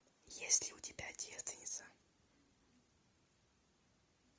есть ли у тебя девственница